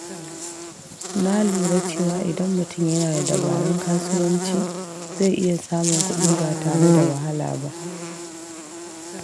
Na lura cewa idan mutum yana da dabarun kasuwanci, zai iya samun kuɗi ba tare da wahala ba.